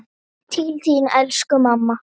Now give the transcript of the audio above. Til þín elsku mamma.